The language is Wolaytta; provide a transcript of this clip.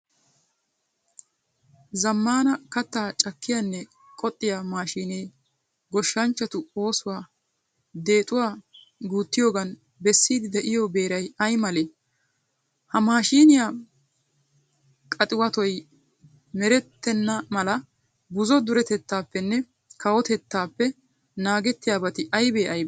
Zammaana kattaa cakkiyanne qoxxiya maashiinee goshshanchchatu oosuwa deexuwa guuttiyogan bessiiddi de'iyo beeray ay malee? Ha maashiiniya qaxiwatoy merettenna mala buzo duretuppenne kawotettaappe naagettiyabati aybee aybee?